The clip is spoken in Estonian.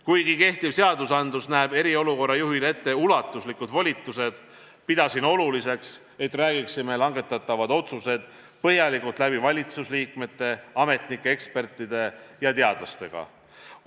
Kuigi kehtivad seadused näevad eriolukorra juhile ette ulatuslikud volitused, pidasin oluliseks, et räägiksime langetatavad otsused põhjalikult läbi valitsusliikmete, ametnike, ekspertide ja teadlastega.